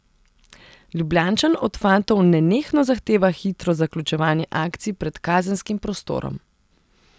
Ljubljančan od fantov nenehno zahteva hitro zaključevanje akcij pred kazenskim prostorom.